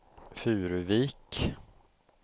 Furuvik